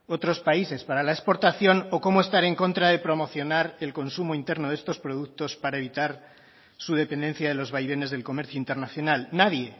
otros países para la exportación o cómo estar en contra de promocionar el consumo interno de estos productos para evitar su dependencia de los vaivenes del comercio internacional nadie